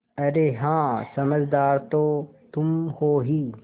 अरे हाँ समझदार तो तुम हो ही